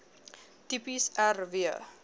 tipes r w